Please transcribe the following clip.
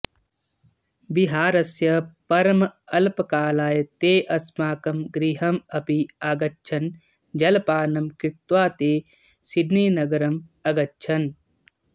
विहारस्य परम् अल्पकालाय ते अस्माकं गृहम् अपि आगच्छन् जलपानं कृत्वा ते सिडनीनगरम् अगच्छन्